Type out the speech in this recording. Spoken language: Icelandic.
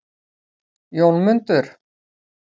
Jónmundur